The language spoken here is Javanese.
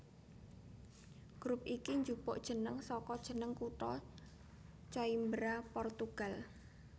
Grup iki njupuk jeneng saka jeneng kutha Coimbra Portugal